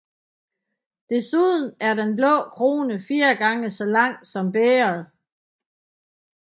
Desuden er den blå krone fire gange så lang som bægeret